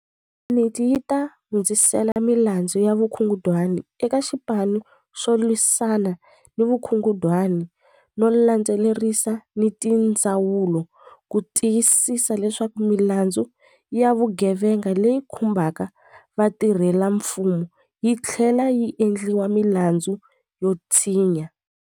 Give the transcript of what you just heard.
Yuniti yi ta hundzisela mi landzu ya vukungundwani eka Xipanu xo Lwisana ni Vukungundwani no landze lerisa ni tindzawulo ku ti yisisa leswaku milandzu ya vugevenga leyi khumbaka vatirhelamfumo yi tlhlela yi endliwa milandzu yo tshinya.